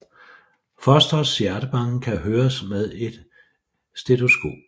Fosterets hjertebanken kan høres med et stetoskop